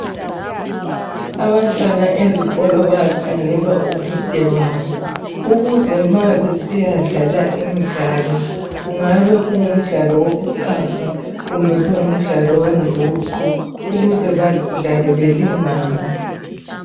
Abantwana ezikolo bakhangelwa ubude babo ukuze nxa besiya dlala imidlalo, kungabe kungumdlalo wokuqaga kumbe owenguqu ukuze badlale belingana.